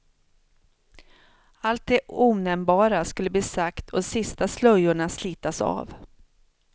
Allt det onämnbara skulle bli sagt och de sista slöjorna slitas av.